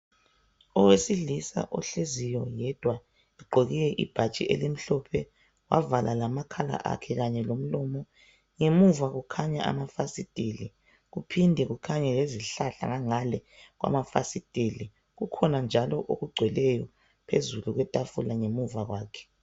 owesilisa ohleziyo yedwa ugqoke ibhatshi elimhlophe wavala lamakhala akhe kanye lomlomo ngemuva kukhanya amafasiteli kuphinde kukhanye lezihlahla ngangale kwamafasiteli kukhona njalo okugcweleyo phezulu kwetafula ngemva kwakhe